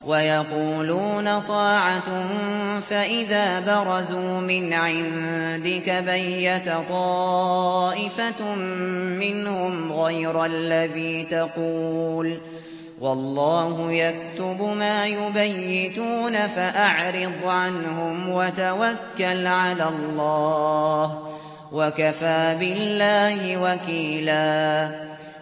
وَيَقُولُونَ طَاعَةٌ فَإِذَا بَرَزُوا مِنْ عِندِكَ بَيَّتَ طَائِفَةٌ مِّنْهُمْ غَيْرَ الَّذِي تَقُولُ ۖ وَاللَّهُ يَكْتُبُ مَا يُبَيِّتُونَ ۖ فَأَعْرِضْ عَنْهُمْ وَتَوَكَّلْ عَلَى اللَّهِ ۚ وَكَفَىٰ بِاللَّهِ وَكِيلًا